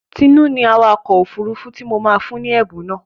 Tinú ni awakọ̀ òfurufú tí mo máa fún ni ẹ̀bùn náà.